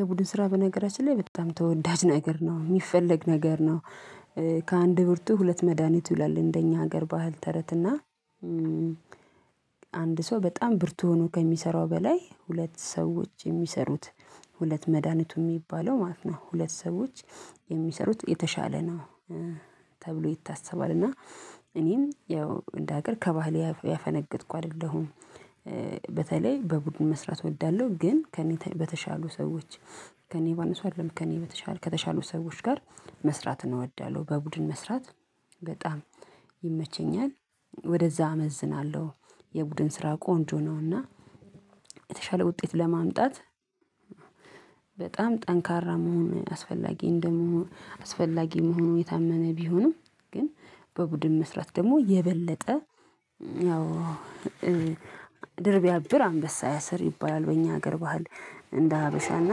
የቡድን ስራ በነገራችን ላይ በጣም ተወዳጅ ነገር ነው የሚፈለግ ነገር ነው። ከአንድ ብርቱ ሁለት መድሃኒት ይላል እንደኛ ሀገር ባህል ተረት እና አንድ ሰው በጣም ብርቱ ሆኖ ከሚሰራው በላይ ሁለት ሰዎች የሚሰሩት ሁለት መድሃኒቱ የሚባለው ማለት ነው። ሁለት ሰዎች የሚሰሩት የተሻለ ነው። ተብሎ ይታሰባል እና እኔም ያው እንደ ሀገር ከባህል ያፈነገጥኩ አይደለሁም። በተለይ በቡድን መስራት እወዳለሁ ግን ከእኔ በተሻሉ ሰዎች ከእኔ ባነሱ አይደለም ከእኔ በተሻሉ ከተሻሉ ሰዎች ጋር መስራትን እወዳለሁ። በቡድን መስራት በጣም ይመቸኛል ወደዛ አመዝናለሁ። የቡድን ስራ ቆንጆ ነውና። የተሻለ ውጤት ለማምጣት በጣም ጠንካራ መሆን አስፈላጊ እንደምሆን አስፈላጊ መሆኑ የታመነ ቢሆንም። ግን በቡድን መስራት ደግሞ የበለጠ ያው ድር ቢያብር አንበሳ ያሰር ይባላል በእኛ ሀገር ባህል እንደ ሀበሻና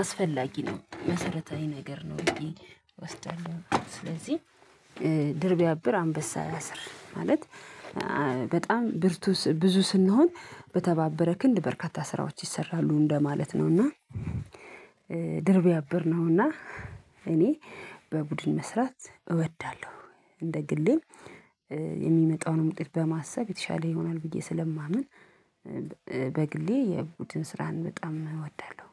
አስፈላጊ ነው መሰረታዊ ነገር ነው። ወስደኛል ስለዚህ ድር ቢያብር አንበሳ ያሰር ማለት በጣም ብርቱ ብዙ ስንሆን በተባበረ ክንድ በርካታ ስራዎች ይሰራሉ እንደማለት ነው። እና ድር ቢያብር ነው እና እኔ በቡድን መስራት እወዳለሁ። እንደ ግሌም የሚመጣውንም ዉጤት በማሰብ የተሻለ ይሆናል ብዬ ስለማምን በግሌ የቡድን ስራን በጣም እወዳለሁ